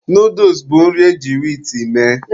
Nooduls bụ nri eji wiit mee.